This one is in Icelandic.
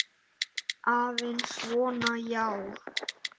Aðeins svona, já.